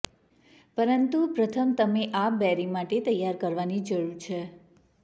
પરંતુ પ્રથમ તમે આ બેરી માટે તૈયાર કરવાની જરૂર છે